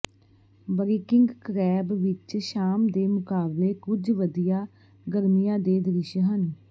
ਬਰਿਕਿੰਗ ਕਰੈਬ ਵਿਚ ਸ਼ਾਮ ਦੇ ਮੁਕਾਬਲੇ ਕੁਝ ਵਧੀਆ ਗਰਮੀਆਂ ਦੇ ਦ੍ਰਿਸ਼ ਹਨ